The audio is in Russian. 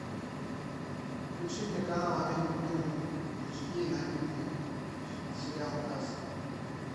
включи мне канал амедиа премиум эйч ди и найди мне сериал касл